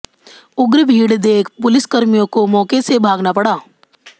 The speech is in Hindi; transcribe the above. उग्र भीड़ देख पुलिसकर्मियों को मौके से भागना पड़ा